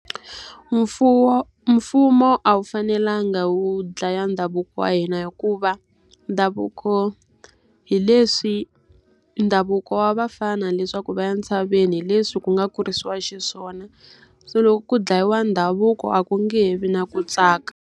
Mfumo a wu fanelanga wu dlaya ndhavuko wa hina hikuva, ndhavuko hi leswi ndhavuko wa vafana leswaku va ya ntshaveni hi leswi ku nga kurisiwa xiswona. Se loko ku dlayiwa ndhavuko a ku nge he vi na ku tsaka.